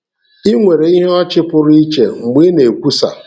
Ị nwere ìhè ọchị pụrụ iche mgbe ị na-ekwusa.